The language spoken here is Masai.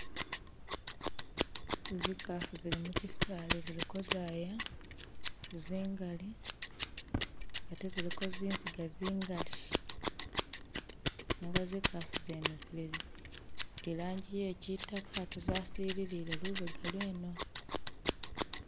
Zikafu zili mukyisali ziliko zaya zingali atee ziliko zinziga zingali nenga zikafu zene zili ilanji ye kyitaka atee zasilile lubega lweno.